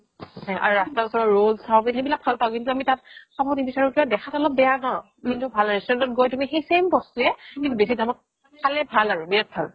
আৰু ৰাস্তা ওচৰৰ ৰোল্লচ চাওমিন সেইবিলাক ভাল পাও কিন্তু আমি তাত খাব নিবিচাৰো কিয় দেখাত অলপ বেয়া ন কিন্তু ভাল restaurant গৈ সেই same বস্তুৱে তুমি বেচি দামত খালে ভাল আৰু বিৰাত ভাল